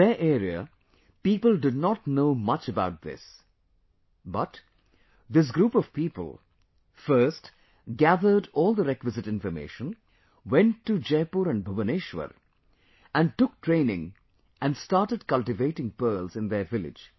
In their area, people did not know much about this, but, this group of people, first, gathered all the requisite information, went to Jaipur and Bhubaneswar and took training and started cultivating pearls in their village